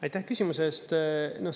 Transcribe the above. Aitäh küsimuse eest!